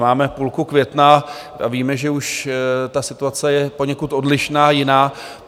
Máme půlku května a víme, že už ta situace je poněkud odlišná, jiná.